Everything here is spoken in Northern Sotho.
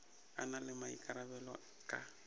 a na le maikarabelo ka